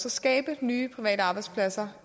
at skabe nye private arbejdspladser